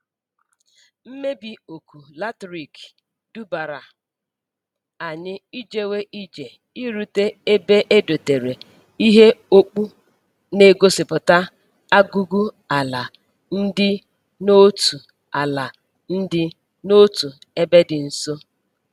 Mmebi oku latrik dubara anyi ijewe ije irute ebe e dotere ihe okpu na-egosiputa agugu ala ndi n'otu ala ndi n'otu ebe di nso.